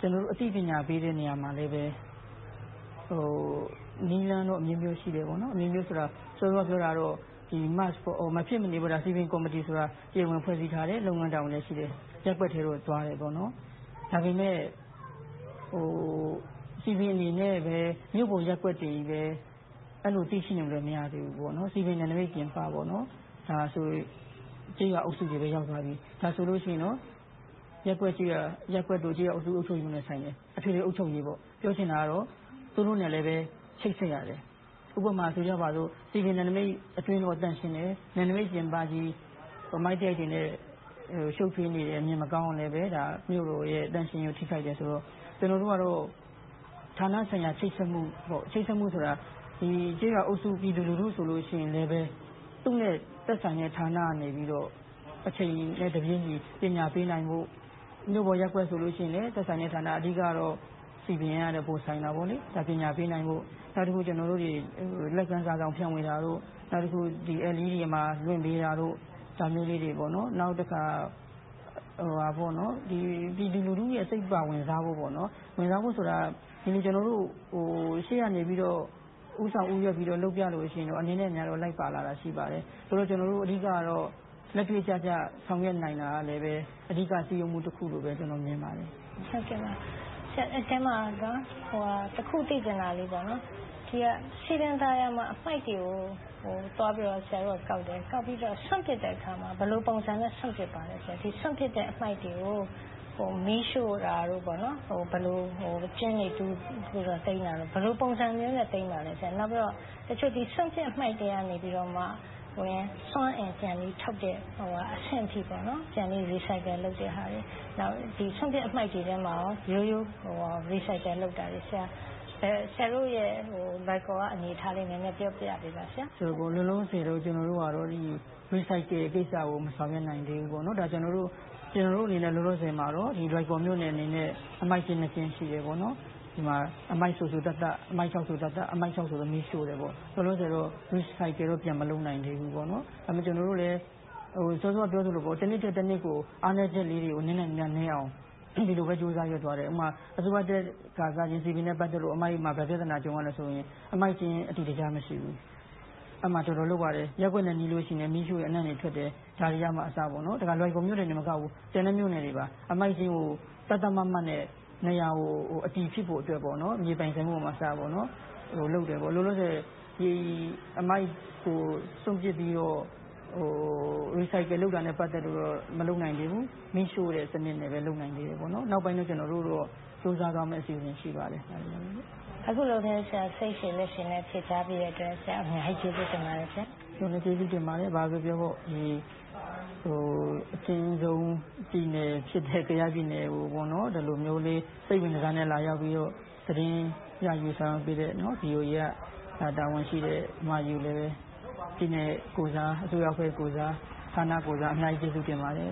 ကျနော်တို့ အသိပညာပေးတဲ့ နေရာမှာလဲ နည်းလမ်းတော့ အမျိုးမျိုးရှိတယ်။ စောစောကပြောတာတော့ စည်ပင်ကော်မတီဆိုတာ တရားဝင်ဖွဲ့စည်းပေးထားတယ်။ လုပ်ငန်းတာဝန်လည်း ရှိတယ်။ ရပ်ကွက်ထဲကိုသွားတယ်။ ဒါပေမဲ့ စည်ပင်အနေနဲ့ပဲ မြို့ပေါ်ရပ်ကွက်တွေကြီးပဲ အဲဒီလို အသိရှိနေလို့ မရသေးဘူး။ စည်ပင်နယ်နမိတ်ပြင်ပ ကျေးရွာအုပ်စုတွေမှာလည်း ရပ်ကွက်တို့ ကျေးရွာအုပ်ချုပ်ရေးမှူးနဲ့ဆိုင်တယ်။ အထွေထွေအုပ်ချုပ်ရေး - ပြောချင်တာက သူတို့နဲ့လဲ ချိတ်ဆက်ရတယ်။ ဥပမာ စည်ပင်နယ်နမိတ်အတွင်းတော့ သန့်ရှင်းတယ်။ နယ်နမိတ်ပြင်ပကြီး အမှိုက်သရိုက်တွေနဲ့ ရှုပ်ထွေးနေတယ်၊ မြင်မကောင်းအောင်ပဲ ရှိနေရင် မြို့တော်သန့်ရှင်းရေးကို ထိခိုက်တယ်ဆိုတော့ ကျနော်တို့ကတော့ ဌာနဆိုင်ရာ ချိတ်ဆက်မှု - ကျေးရွာအုပ်စု ပြည်သူလူထုဆိုရင်လဲ သူနဲ့သက်ဆိုင်တဲ့ ဌာနကနေ အချိန်နဲ့တပြေညီ ပညာပေးနိုင်ဖို့ မြို့ပေါ်ရပ်ကွက်ဆိုရင်လဲ သက်ဆိုင်တဲ့ဌာန အဓိကတော့ စည်ပင်ကတော့ ပိုဆိုင်တာပေါ့။ ပညာပေးနိုင်ဖို့။ နောက်တခါ ကျနော်တို့ လက်ကမ်းစာစောင် ဖြန့်ဝေတာတို့၊ နောက်တခါ LED မှာ လွှင့်ပေးတာတို့ ဒါမျိုးလေးတွေ။ နောက်တခါ ပြည်သူလူုထုရဲ့ စိတ်ပါဝင်စားမှုဆိုတာ ကျနော်တို့ ရှေ့ကနေ ဦးဆောင်ဦးရွက်ပြီး လုပ်ပြရင်တော့ အနည်းနဲ့အများတော့ လိုက်ပါလာတာ ရှိပါတယ်။ ဆိုတော့ ကျနော်တို့ အဓိကတော့ လက်တွေ့ကျကျ ဆောင်ရွက်နိုင်တာလဲ အဓိကစည်းရုံးမှုတခုလို့ မြင်ပါတယ်။ အဲဒီအထဲမှာ တခုသိချင်တာလေးက စည်ပင်သာယာမှာ အမှိုက်တွေကို သွားပြီးတော့ကောက်တယ်။ ကောက်ပြီးတော့ စွန့်ပစ်တဲ့အခါမှာ ဘယ်လိုပုံစံနဲ့ စွန့်ပစ်ပါလဲ။ စွန့်ပစ်တဲ့အမှိုက်တွေကို မီးရှို့တာတို့၊ ဘယ်လိုကျွင်းတွေတူးပြီးတော့ သိမ်းတာတို့ - ဘယ်လိုပုံစံမျိုးနဲ့ သိမ်းပါသလဲ။ နောက်တခုက တချို့စွန့်ပစ်အမှိုက်တွေကနေ စွမ်းအင်ပြန်ပြီးထုတ်တဲ့ အဆင့်အထိ ပြန်ပြီး recycle လုပ်တဲ့ဟာတွေ။ နောက် စွန့်ပစ်တဲ့အမှိုက်တွေထဲမှာ ရွေးပြီး recycle လုပ်တာတွေ စသည်ဖြင့် - ဆရာတို့ လွိုင်ကော်ရဲ့ အနေအထားလေးတွေကို ပြောပြပေးပါ။ လောလောဆယ်တော့ recycle ကိစ္စကို မဆောင်ရွက်နိုင်သေးဘူး။ လောလောဆယ်မှာတော့ လွိုင်ကော်မြို့နယ်အနေနဲ့ အမှိုက်ကျင်းနှစ်ကျင်း ရှိတယ်။ အမှိုက်စိုသတ်သတ်၊ အမှိုက်ခြောက်ဆိုရင် မီးရှို့တယ်။ Recycle တော့ မလုပ်နိုင်သေးဘူး။ စောစောကပြောသလို တနှစ်ထက်တနှစ်ကို အားနည်းချက်လေးတွေ နည်းအောင် ဒီလိုပဲ ကြိုးစားသွားခဲ့တယ်။ ဥပမာ အစိုးရတက်ခါစ စည်ပင်နဲ့ ပတ်သက်လို့ ဘာပြဿနာကြုံရသလဲဆိုရင် အမှိုက်ကျင်း အတည်တကျ မရှိဘူး။ အဲဒီမှာ တော်တော်လုပ်ရတယ်။ ရပ်ကွက်နဲ့နီးလို့ရှိရင် မီးရှို့ရင် အနံ့တွေထွက်တယ်။ ဒါတွေကမှအစ - လွိုင်ကော်မြို့နယ်တင်မကဘူး ကျန်တဲ့မြို့နယ်တွေပါ အမှိုက်ကျင်းကို သတ်သတ်မှတ်မှတ်နဲ့ နေရာကို အတည်ဖြစ်ဖို့အတွက် မြေပိုင်ဆိုင်မှုကအစ လုပ်ခဲ့တယ်။ လောလောဆယ် အမှိုက်ကိုစွန့်ပစ်ပြီးတော့ recycle စနစ်နဲ့ မလုပ်နိုင်သေးဘူး၊ မီးရှို့တဲ့စနစ်နဲ့ပဲ လုပ်နိုင်သေးတယ်။ နောက်ပိုင်းတော့ လုပ်နိုင်ဖို့ ကြိုးစားသွားမယ့် အစီအစဉ် ရှိပါတယ်။ အခုလို စိတ်ရှည်လက်ရှည်နဲ့ ဖြေကြားပေးတဲ့အတွက် ဆရာကို အများကြီးကျေးဇူးတင်ပါတယ် ကျနော်လည်း ကျေးဇူးတင်ပါတယ်။ ဘာပဲပြောပြော ဒီလို အကျဉ်းဆုံးပြည်နယ်ဖြစ်တဲ့ ကယားပြည်နယ်ကို ဒီလိုမျိုးလေး စိတ်ဝင်တစားနဲ့ လာရောက်ပြီးတော့ သတင်းယူဆောင်ပေးတဲ့ VOA က တာဝန်ရှိတဲ့ အမကြီးကိုလည်း ပြည်နယ်ကိုယ်စား၊ အစိုးရအဖွဲ့ကိုယ်စား၊ ဌာနကိုယ်စား အများကြီးကျေးဇူးတင်ပါတယ်